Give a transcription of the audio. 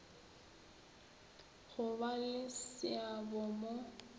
go ba le seabo mo